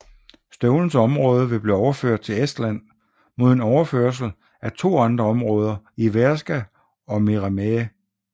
Støvlens område vil blive overført til Estland mod en overførsel af to andre områder i Värska og Meremäe